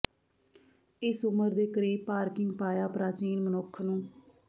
ਇਸ ਉਮਰ ਦੇ ਕਰੀਬ ਪਾਰਕਿੰਗ ਪਾਇਆ ਪ੍ਰਾਚੀਨ ਮਨੁੱਖ ਨੂੰ